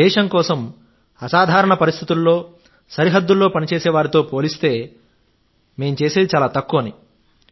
దేశం కోసం అసాధారణ పరిస్థితుల్లో సరిహద్దుల్లో పనిచేసే వారితో పోలిస్తే మేం చేసేది చాలా తక్కువ అని